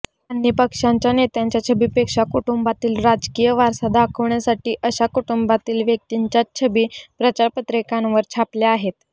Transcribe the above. त्यांनी पक्षाच्या नेत्याच्या छबीपेक्षा कुटुंबातील राजकीय वारसा दाखवण्यासाठी अशा कुटुंबातील व्यक्तिंच्याच छबी प्रचारपत्रकांवर छापल्या आहेत